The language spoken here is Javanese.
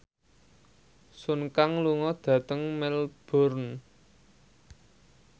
Sun Kang lunga dhateng Melbourne